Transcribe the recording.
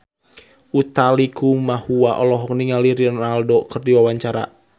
Utha Likumahua olohok ningali Ronaldo keur diwawancara